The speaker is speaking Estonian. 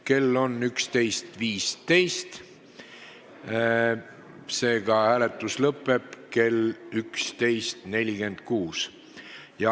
Kell on 11.15, seega lõpeb hääletus kell 11.46.